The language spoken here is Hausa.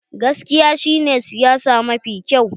Gaskiya shi ne siyasa mafi kyau.